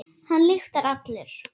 Hann lyktar allur.